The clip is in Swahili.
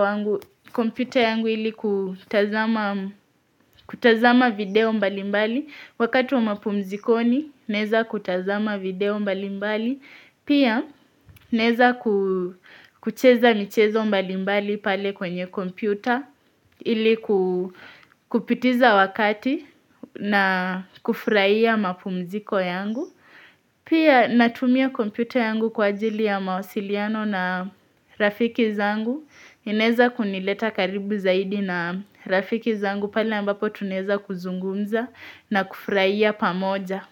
wangu kompyuta yangu ili kutazama kutazama video mbalimbali, wakati wa mapumzikoni naeza kutazama video mbalimbali. Pia naeza kucheza michezo mbalimbali pale kwenye kompyuta ili kupitiza wakati na kufurahia mapumziko yangu. Pia natumia kompyuta yangu kwa ajili ya mawasiliano na rafiki zangu. Naeza kunileta karibu zaidi na rafiki zangu pale ambapo tunaeza kuzungumza na kufurahia pamoja.